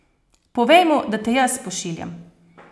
Povej mu, da te jaz pošiljam.